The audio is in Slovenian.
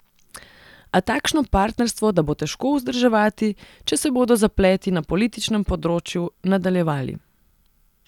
A takšno partnerstvo da bo težko vzdrževati, če se bodo zapleti na političnem področju nadaljevali.